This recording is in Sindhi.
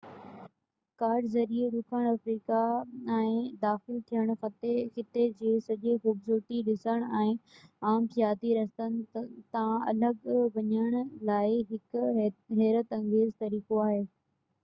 ڪار ذريعي ڏکڻ آفريڪا ۾ داخل ٿيڻ خطي جي سڄي خوبصورتي ڏسڻ ۽ عام سياحتي رستن تان الڳ وڃڻ لاءِ هڪ حيرت انگيز طريقو آهي